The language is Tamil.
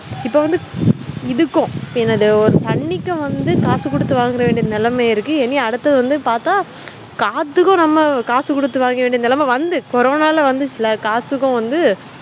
இப்போவந்து இதுக்கும் ஒரு தண்ணிக்கும் வந்து காசு குடுத்து வாங்குற நெலமை இருக்கு இனி அடுத்து வந்து பாத்தா காத்துக்கும் காசு குடுத்து வாங்குற நெலமை வந்து கொரோன வந்துச்சுல காத்துக்கும